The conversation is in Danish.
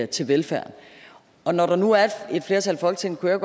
til velfærden og når der nu er et flertal i folketinget kunne jeg